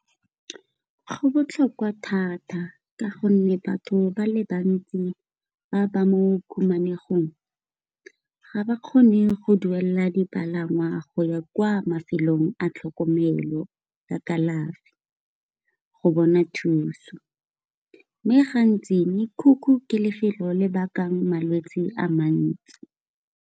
Go botlhokwa thata ka gonne batho ba le bantsi ba ba mo o khumanegong, ga ba kgone go duelela dipalangwa go ya kwa mafelong a tlhokomelo ya kalafi, go bona thuso mme gantsi mekhukhu ke lefelo le bakang malwetsi a mantsi.